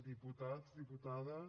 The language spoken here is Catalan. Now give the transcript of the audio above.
diputats diputades